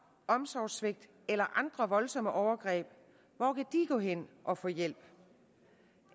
omsorgssvigt eller andre voldsomme overgreb gå hen og få hjælp